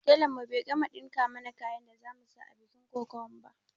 Telan mu bai gama ɗinka mana kayan da za mu saka a bikin kokawan ba